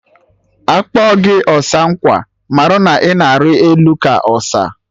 Akpọ gị ọsa nkwa, marụ na ịna ari elu ka ọsa